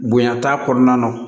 Bonya t'a kɔnɔna na